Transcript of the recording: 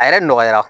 A yɛrɛ nɔgɔyara